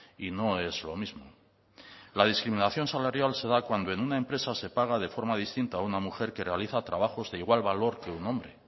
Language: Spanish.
y no es lo mismo la discriminación salarial se da cuanto en una empresa se paga de forma distinta una mujer que realiza trabajos de igual valor que un hombre